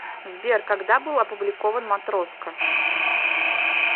сбер когда был опубликован матроска